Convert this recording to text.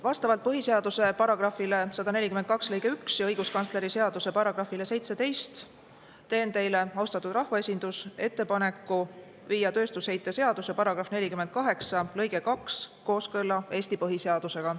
Vastavalt põhiseaduse § 142 lõikele 1 ja õiguskantsleri seaduse §‑le 17 teen teile, austatud rahvaesindus, ettepaneku viia tööstusheite seaduse § 48 lõige 2 kooskõlla Eesti põhiseadusega.